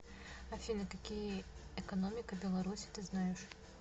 афина какие экономика беларуси ты знаешь